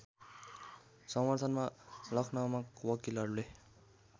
समर्थनमा लखनउमा वकिलहरूले